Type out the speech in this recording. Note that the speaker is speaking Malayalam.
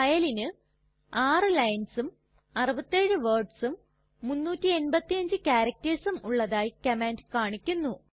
ഫയലിന് 6 linesഉം 67 wordsഉം 385 charactersഉം ഉള്ളതായി കമാൻഡ് കാണിക്കുന്നു